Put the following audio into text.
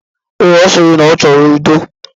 Ee, ọ sịrị na ọ chọrọ udo.